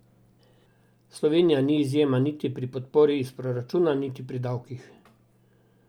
Slovenija ni izjema niti pri podpori iz proračuna niti pri davkih.